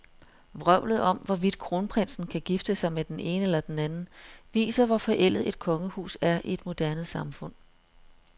Vrøvlet om, hvorvidt kronprinsen kan gifte sig med den ene eller den anden, viser, hvor forældet et kongehus er i et moderne samfund.